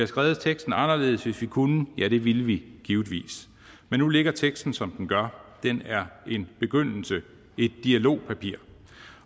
skrevet teksten anderledes hvis vi havde kunnet ja det ville vi givetvis men nu ligger teksten som den gør den er en begyndelse et dialogpapir